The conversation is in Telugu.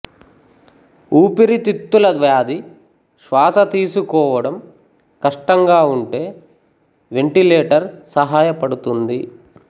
ఊపిరితిత్తుల వ్యాధి శ్వాస తీసుకోవడం కష్టం గా ఉంటే వెంటిలేటర్ సహాయపడుతుంది